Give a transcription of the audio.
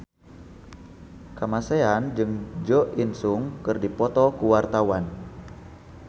Kamasean jeung Jo In Sung keur dipoto ku wartawan